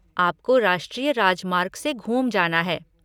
आपको राष्ट्रीय राजमार्ग से घूम जाना है।